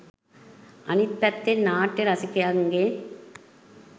අනිත් පැත්තෙන් නාට්‍ය රසිකයන්ගේ